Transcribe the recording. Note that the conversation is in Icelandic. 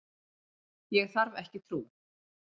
Ég þarf ekki trú.